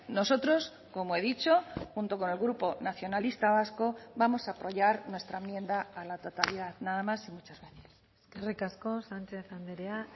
nosotros como he dicho junto con el grupo nacionalista vasco vamos a apoyar nuestra enmienda a la totalidad nada más y muchas gracias eskerrik asko sánchez andrea